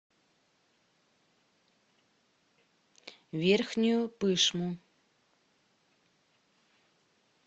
верхнюю пышму